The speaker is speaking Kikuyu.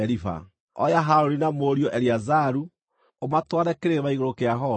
Oya Harũni na mũriũ Eleazaru, ũmatware Kĩrĩma-igũrũ kĩa Horu.